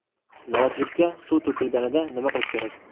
Noutbukka suv to‘kilganida nima qilish kerak?.